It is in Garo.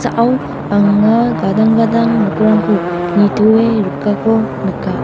anga gadang gadang nokrangko nitoe rikako nika.